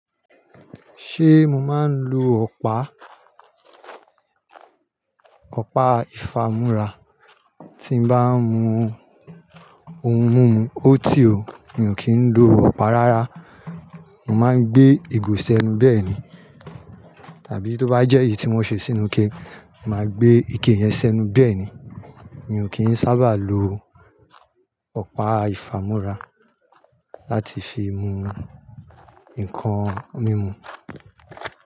Ṣé mo máa ń lo ọ̀pá? Ọ̀pá ìfámúra tí mo bá ń mu ohun mímu ọ́tí o, mi ò kì ń lo ọ̀pá rárá. Mo máa ń gbé ìgò sẹnu bẹ́ẹ̀ ni. Tàbí tó bá jẹ́ èyí tí won ṣe sínú ike, màá gbé ike yẹn sẹnu bẹ́ẹ̀ ni. Mi ò kì n sábà lo ọ̀pá ìfámúra láti fi mu nǹkan mímu.